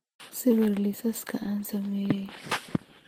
sawir liisaska aan sameeyay